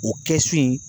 O kɛ so in